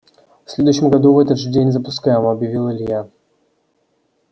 в следующем году в этот же день запускаем объявил илья